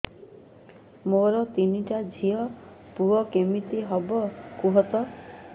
ମୋର ତିନିଟା ଝିଅ ପୁଅ କେମିତି ହବ କୁହତ